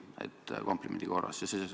Seda komplimendi korras!